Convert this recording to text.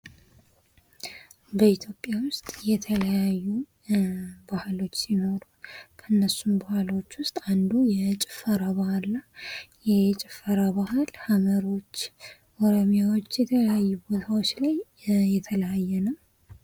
በኢትዮጵያ ውስጥ የተለያዩ ባህሎች ሲኖሩ ከእነሱም ባህሎች ውስጥ አንዱ የጭፈራ ባህል ነው:: ይህ የጭፈራ ባህል ሐመሮች ኦሮምያዎች የተለያዩ ቦታዎች ላይ የተለያየ ነው::